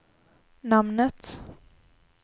namnet